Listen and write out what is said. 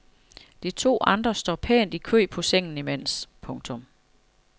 De to andre står pænt i kø på sengen imens. punktum